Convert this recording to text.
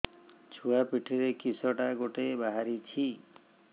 ଛୁଆ ପିଠିରେ କିଶଟା ଗୋଟେ ବାହାରିଛି